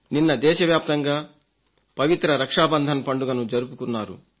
నిన్న దేశవ్యాప్తంగా పవిత్ర రక్షా బంధన్ పండుగను జరుపుకున్నారు